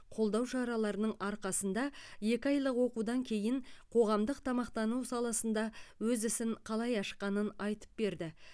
қолдау шараларының арқасында екі айлық оқудан кейін қоғамдық тамақтану саласында өз ісін қалай ашқанын айтып берді